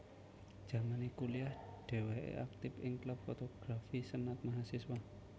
Jamane kuliah dheweke aktif ing klub fotografi senat Mahasiswa